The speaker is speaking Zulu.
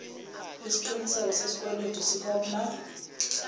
iziqinisekiso sesikweletu sikhopna